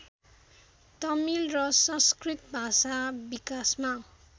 तमिल र संस्कृत भाषा विकासमा